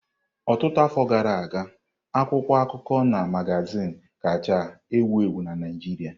Ọtụtụ afọ gara aga, akwụkwọ akụkọ na magazin kacha ewu ewu na Naijiria.